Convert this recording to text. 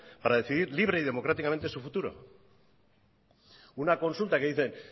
para decidir libre y democráticamente su futuro una consulta que dicen